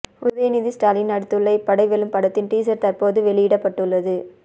உதயநிதி ஸ்டாலின் நடித்துள்ள இப்படை வெல்லும் படத்தின் டீசர் தற்போது வெளியிடப்பட்டுள்ளது